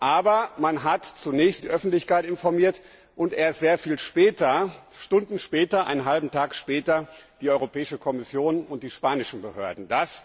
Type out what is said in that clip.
Aber man hat zunächst die Öffentlichkeit informiert und erst sehr viel später, Stunden später, einen halben Tag später die Europäische Kommission und die spanischen Behörden.